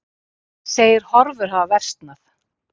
Segir horfur hafa versnað